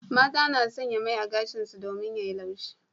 Mata na sanya mai a gashin su domin ya yi laushi.